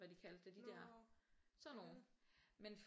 Hvad de kaldte det de der sådan nogle men